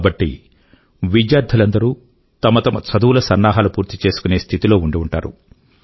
కాబట్టి విద్యార్థులందరూ తమ తమ చదువుల సన్నహాలు పూర్తి చేసుకునే స్థితి లో ఉండి ఉంటారు